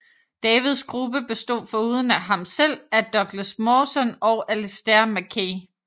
Davids gruppe bestod foruden af ham selv af Douglas Mawson og Alistair Mackay